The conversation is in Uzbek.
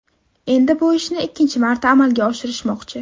Endi bu ishni ikkinchi marta amalga oshirishmoqchi.